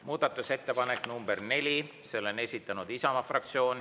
Muudatusettepanek nr 4, selle on esitanud Isamaa fraktsioon.